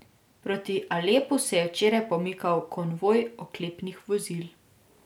Proti Alepu se je včeraj pomikal konvoj oklepnih vozil.